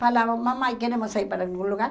Falava, mamãe, queremos sair para algum lugar?